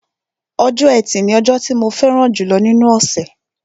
Ọjọ́ ẹtì ni ọjọ́ tí mo fẹ́ràn jùlọ nínú ọ̀ṣẹ̀